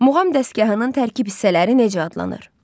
Muğam dəstgahının tərkib hissələri necə adlanır?